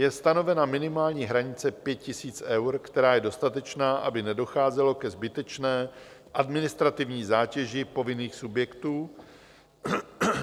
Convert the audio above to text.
Je stanovena minimální hranice 5 000 eur, která je dostatečná, aby nedocházelo ke zbytečné administrativní zátěži povinných subjektů.